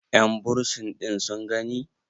yanbursin ɗin sun gani?